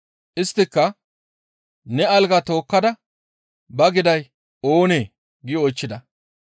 Isttika, «Nena algaa tookkada ba giday oonee?» gi oychchida.